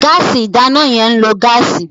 Gáàsì ìdáná yẹn ń lo gáàsì.